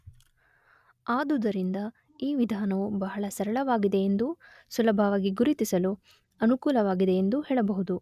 ಆದುದರಿಂದ ಈ ವಿಧಾನವು ಬಹಳ ಸರಳವಾಗಿದೆಯೆಂದೂ ಸುಲಭವಾಗಿ ಗುರುತಿಸಲು ಅನುಕೂಲವಾಗಿದೆಯೆಂದೂ ಹೇಳಬಹುದು.